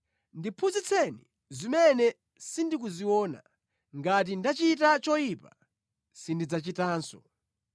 ndiphunzitseni zimene sindikuziona ngati ndachita choyipa, sindidzachitanso.’